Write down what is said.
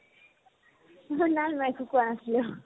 তোমাক নাই নাই একো কোৱা নাছিলো